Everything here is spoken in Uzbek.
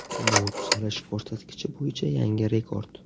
Bu tuzalish ko‘rsatkichi bo‘yicha yangi rekord.